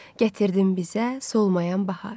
Gətirdin bizə solmayan bahar.